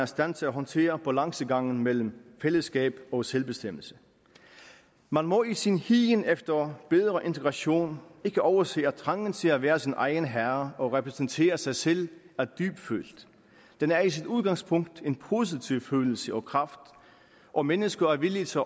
stand til at håndtere balancegangen mellem fællesskab og selvbestemmelse man må i sin higen efter bedre integration ikke overse at trangen til at være sin egen herre og repræsentere sig selv er dybtfølt den er i sit udgangspunkt en positiv følelse og kraft og mennesker er villige til